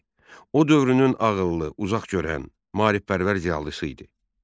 O dövrünün ağıllı, uzaqgörən, maarifpərvər ziyalısı idi.